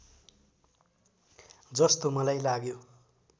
जस्तो मलाई लाग्यो